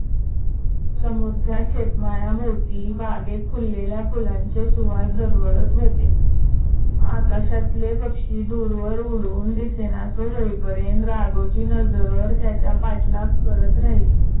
समोरच्या शेतमाळ्याभोवती बागेत फुललेल्या फुलांचे सुवास दरवळत होते. आकाशातले पक्षी दूरवर उडून दिसेनासे होई पर्यंत राघवची नजर त्याच्या पाठलाग करत राहिली.